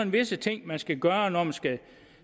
visse ting man skal gøre når man skal